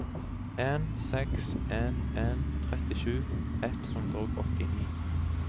en seks en en trettisju ett hundre og åttini